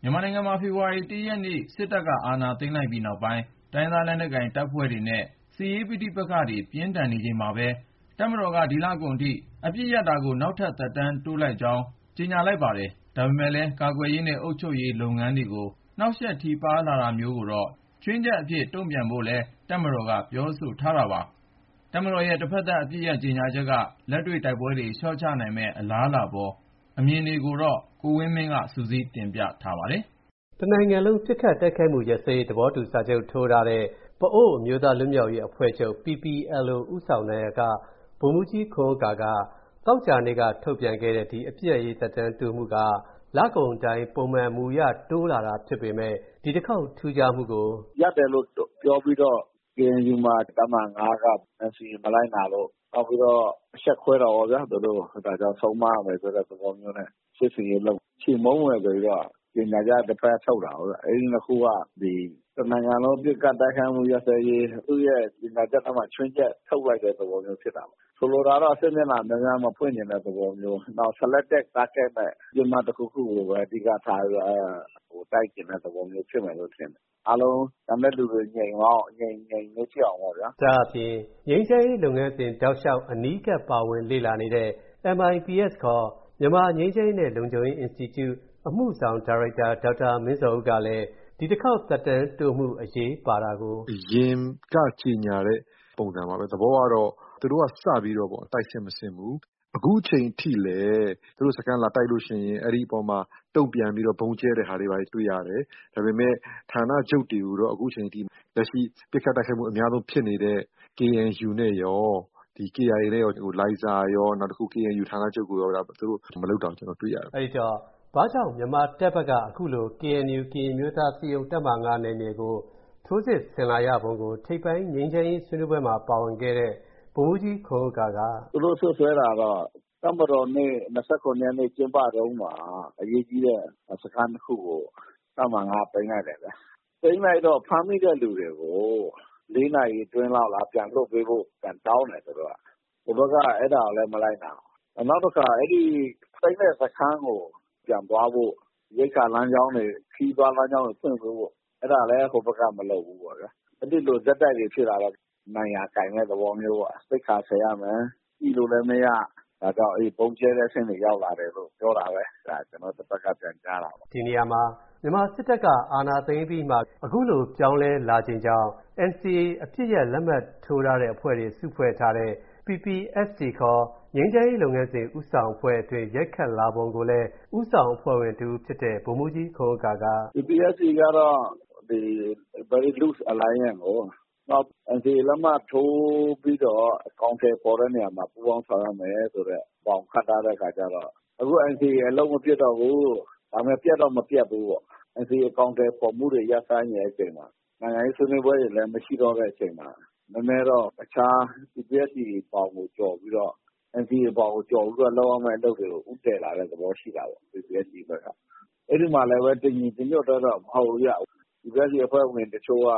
မြန်မာနိုင်ငံမှာ ဖေဖော်ဝါရီလ ၁ ရက်နေ့ စစ်တပ်က အာဏာသိမ်းလိုက်ပြီးနောက် တိုင်းရင်းသား လက်နက်ကိုင်အဖွဲ့တွေနဲ့ စစ်ရေးပဋိပက္ခတွေ ပြင်းထန်နေချိန်မှာပဲ တပ်မတော်က ဒီလကုန်အထိ အပစ်ရပ် နောက်ထပ် သက်တမ်းတိုးလိုက်ကြောင်း ကြေညာလိုက်ပါတယ်။ ဒါပေမယ့်လည်း ကာကွယ်ရေးနဲ့ အုပ်ချုပ်ရေး လုပ်ငန်းတွေကို နှောင့်ယှက်ထိပါးလာတာမျိုးကိုတော့ ခြွင်းချက်အဖြစ် တုံ့ပြန်ဖို့လည်း တပ်မတော်က ပြောဆိုထားတာပါ။ တပ်မတော်ရဲ့ တဖက်သတ် အပစ်ရပ် ကြေညာချက်က လက်တွေ့ တိုက်ပွဲတွေ လျှော့ချနိုင်မယ့် အလားအလာအပေါ် အမြင်တွေကိုတော့ ကိုဝင်းမင်းက စုစည်းတင်ပြပေးမှာ ဖြစ်ပါတယ်။ တနိုင်ငံလုံး ပစ်ခတ်တိုက်ခိုက်မှု ရပ်စဲရေး သဘောတူစာချုပ် ထိုးထားတဲ့ ပအို့ဝ်အမျိုးသား လွတ်မြောက်ရေးအဖွဲ့ချုပ် ဦးဆောင်နာယက ဗိုလ်မှူးကြီးခွန်ဥက္ကာက သောကြာနေ့က ထုတ်ပြန်ခဲ့တဲ့ ဒီ အပစ်ရပ်ရေး ထုတ်ပြန်မှုက လကုန်တိုင်း ပုံမှန် မူအရ တိုးလာတာ ဖြစ်ပေမယ့် ဒီတခေါက် ထူးခြားမှုကို အခုလိုပြောပါတယ်။ “ရပ်တယ်လို့ပြောပြီးတော့ ကေအန်ယူမှာ တပ်မဟာ ၅ က NCA မလိုက်နာလို့၊ နောက်ပြီးတော့ အရှက်ခွဲတယ်ပေါ့ဗျာ သူတို့ကို၊ အဲဒါကြောင့် ဆုံးမရမယ်ဆိုတဲ့ သဘောမျိုးနဲ့ စစ်ဆင်ရေးလုပ် ချေမှုန်းမယ်ဆိုပြီးတော့ ကြေညာချက် တဖက်က ထုတ်တာကိုးဗျ။ အဲဒီနှစ်ခုက တနိုင်ငံလုံး ပစ်ခတ်တိုက်ခိုက်မှု ရပ်စဲရေး ကြေညာချက်ထဲမှာ ခြွင်းချက်ထုတ်လိုက်တဲ့ သဘောမျိုး ဖြစ်တာပေါ့။ ဆိုလိုတာက စစ်မျက်နှာ များများမဖွင့်ချင်တဲ့ သဘောမျိုး။ နောက် Selected Target နဲ့ ပစ်မှတ်တခုခုကိုပဲ အဓိကထားပြီး တိုက်ချင်တဲ့သဘောမျိုး ဖြစ်မယ်လို့ထင်တယ်။ အားလုံး ကျန်တဲ့လူတွေ အရင် ငြိမ်သွားအောင်ပေါ့ဗျာ။” ဒါ့အပြင် ငြိမ်းချမ်းရေးလုပ်ငန်းစဉ် တောက်လျှောက် အနီးကပ် ပါဝင်လေ့လာနေတဲ့ MIPS ခေါ် မြန်မာ့ငြိမ်းချမ်းရေးနဲ့ လုံခြုံရေး အင်စတီကျု အမှုဆောင်ဒါရိုက်တာ ဒေါက်တာမင်းဇော်ဦးကလည်း ဒီတခေါက် သက်တမ်းတိုးမှု အရေးပါတာကို အခုလို ရှင်းပြပါတယ်။ “အရင်ကကြေညာတဲ့ ပုံစံပါပဲ။ သဘောကတော့ သူတို့ကစပြီး တိုက်စစ်မဆင်ဘူး။ အခုအချိန်ထိလည်း သူတို့စခန်း လာတိုက်လို့ရှိရင် ဒီအပေါ်မှာ တုံ့ပြန်ပြီး ဗုံးကြဲတဲ့ဟာတွေ တွေ့ရတယ်။ ဒါပေမယ့် ဌာနချုပ်တွေကိုတော့ အခုချိန်ထိ လက်ရှိ ပစ်ခတ်တိုက်ခိုက်မှု အများဆုံးဖြစ်နေတဲ့ ကေအန်ယူနဲ့ရော၊ ကေအိုင်အေ လိုင်ဇာရော၊ နောက်တခု ကေအန်ယူ ဌာနချုပ်ကိုရော သူတို့ မလုပ်တာ တွေ့ရတယ်။” အဲဒီတော့ ဘာကြောင့် မြန်မာတပ်ဘက်က အခုလို ကေအန်ယူ ကရင်အမျိုးသား အစည်းအရုံး တပ်မဟာ ၅ နယ်မြေကို ထိုးစစ်ဆင်လာရပုံကို ထိပ်ပိုင်း ငြိမ်းချမ်းရေး ဆွေးနွေးပွဲမှာ ပါဝင်ခဲ့တဲ့ ဗိုလ်မှူးကြီးခွန်ဥက္ကာက အခုလိုပြောပါတယ်။ “သူတို့စွပ်စွဲတာကတော့ တပ်မတော်နေ့ ၂၇ ရက်နေ့ ကျင်းပတုန်းမှာ အရေးကြီးတဲ့ စခန်းနှစ်ခုကို တပ်မဟာ ၅ က သိမ်းလိုက်တယ်။ သိမ်းလိုက်တော့ ဖမ်းမိတဲ့လူတွေကို ၄ နာရီအတွင်း ပြန်လွှတ်ပေးဖို့ တောင်းတယ် သူတို့က။ သူတို့က အဲဒါကိုလည်း မလိုက်နာဘူး။ နောက်တခါ သိမ်းတဲ့စခန်းကို ပြန်သွားဖို့ ရိက္ခာလမ်းကြောင်းတွေ၊ ခရီးသွားလမ်းကြောင်းတွေ ဖွင့်ပေးဖို့ အဲဒါလည်း ဟိုဘက်က မလုပ်ဘူးပေါ့ဗျာ။ အဲဒီလို ဆက်တိုက်တွေ ဖြစ်လာတော့ နိုင်ရာကိုင်တဲ့ သဘောမျိုးပေါ့။ သိက္ခာဆယ်ရမယ်၊ ညှိလို့လည်းမရ၊ ဒါကြောင့် ဗုံးကြဲတဲ့အဆင့်တွေ ရောက်လာတယ်လို့ ပြောတာပဲ။ ဒါ ကျနော် တဖက်က ပြန်ကြားတာပေါ့။” ဒီနေရာမှာ မြန်မာစစ်တပ်က အာဏာသိမ်းပြီးမှ အခုလို ပြောင်းလဲလာခြင်းကြောင့် NCA အပစ်ရပ်လက်မှတ်ထိုးထားတဲ့ အဖွဲ့တွေ စုဖွဲ့ထားတဲ့ PPST ခေါ် ငြိမ်းချမ်းရေးလုပ်ငန်းစဉ် ဦးဆောင်အဖွဲ့အတွင်း ရိုက်ခတ်လာပုံကိုလည်း ဦးဆောင်အဖွဲ့ဝင် တဦးဖြစ်တဲ့ ဗိုလ်မှူးကြီးခွန်ဥက္ကာက အခုလိုပြောပါတယ်။ “PPST ကတော့ Very Loose Alliance ကိုး။ နောက် NCA လက်မှတ်ထိုးပြီးတော့ အကောင်အထည်ဖော်တဲ့နေရာမှာ ပူးပေါင်းဆောင်ရွက်မယ်ဆိုတဲ့အကြောင်း ခန့်ထားတဲ့အခါကျတော့ အခု NCA အလုပ်မဖြစ်တော့ဘူး၊ ဒါပေမယ့် ပျက်တော့ မပျက်သေးဘူးပေါ့။ NCA အကောင်အထည်ဖော်မှုတွေ ရပ်ဆိုင်းနေတဲ့အချိန်မှာ၊ နိုင်ငံရေး ဆွေးနွေးပွဲတွေလည်း မရှိတော့တဲ့အချိန်မှာ နည်းနည်းတော့ တခြား PPST ဘောင်ကို ကျော်ပြီးတော့၊ NCA ဘောင်ကို ကျော်ပြီးတော့ လုပ်ရမယ့် အလုပ်တွေကို ဦးတည်လာတဲ့သဘော ရှိတာပေါ့ PPST ဘက်က။ အဲဒီမှာလည်း တညီတညွတ်တည်းတော့ မဟုတ်ဘူးဗျ။ PPST အဖွဲ့ဝင်တချို့က